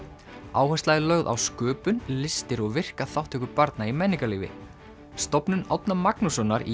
áhersla er lögð á sköpun listir og virka þátttöku barna í menningarlífi stofnun Árna Magnússonar í